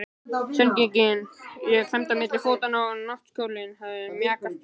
Sængin lá klemmd milli fótanna og náttkjóllinn hafði mjakast upp.